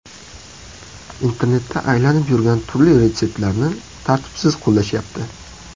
Internetda aylanib yurgan turli retseptlarni tartibsiz qo‘llashyapti!